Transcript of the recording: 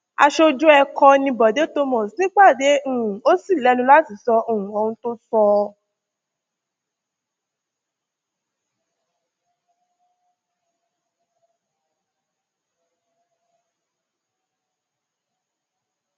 aṣojú ẹkọ ni bọde thomas nípàdé yìí um ò sì lẹnu láti sọ um ohun tó sọ